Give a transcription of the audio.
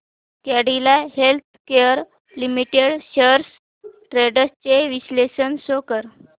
Cadila healthcare limited shares trends चे विश्लेषण show कर